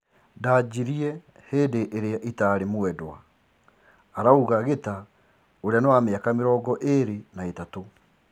Ndanjirie hindi iria itari mwedwa',arauga Gita ũria ni wa miaka mĩrongo ĩrĩ na ithatũ.